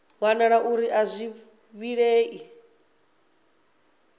wanala uri a zwi vhilei